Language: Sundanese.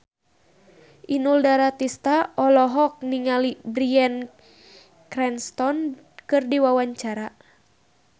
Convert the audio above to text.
Inul Daratista olohok ningali Bryan Cranston keur diwawancara